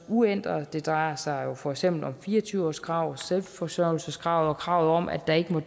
uændret det drejer sig for eksempel om fire og tyve årskravet selvforsørgelseskravet og kravet om at der ikke må